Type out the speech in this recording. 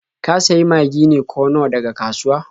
Ka sayi Magi ne ko Nor daga kasuwa?